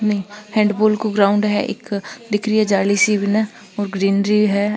इन हैंडपूल को ग्राउंड है एक दिख रही है जाली सी बिन और ग्रीनरी है।